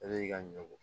Ale y'i ka ɲɔ ko